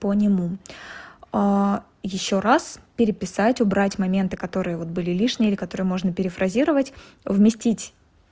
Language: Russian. по нему ещё раз переписать убрать моменты которые вот были лишние или которые можно перефразировать вместить